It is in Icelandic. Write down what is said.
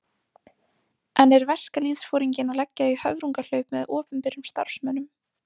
En er verkalýðsforinginn að leggja í höfrungahlaup með opinberum starfsmönnum?